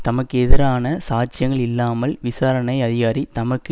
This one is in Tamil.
தமக்கு எதிரான சாட்சியங்கள் இல்லாமல் விசாரணை அதிகாரி தமக்கு